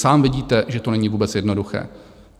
Sám vidíte, že to není vůbec jednoduché.